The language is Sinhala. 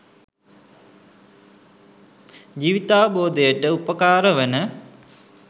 ජීවිතාවබෝධයට උපකාර වන